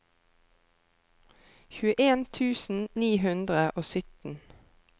tjueen tusen ni hundre og sytten